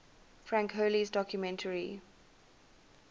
frank hurley's documentary